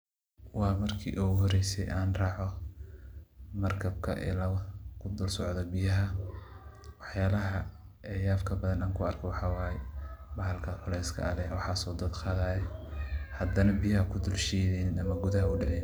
Waa markii iigu horeysay aan raaco markabka iilaba kudulsocdo biyaha. Wax yaalaha yabka badan an ku arko waxa waay, bahalka culeyska leh waxaas oo dad qaadaya, haddana biyaha kudulshiideynin ama gudaha u daceynin.